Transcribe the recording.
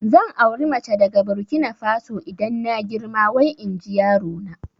Zan auri mace daga Burkina Faso idan na girma wai inji yarona